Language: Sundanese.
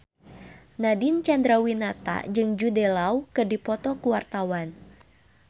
Nadine Chandrawinata jeung Jude Law keur dipoto ku wartawan